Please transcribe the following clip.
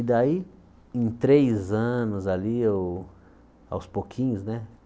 E daí, em três anos ali eu, aos pouquinhos, né?